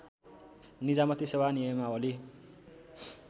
निजामती सेवा नियमावली